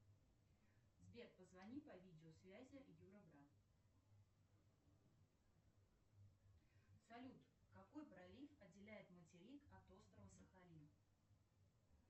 сбер позвони по видео связи юра брат салют какой пролив отделяет материк от острова сахалин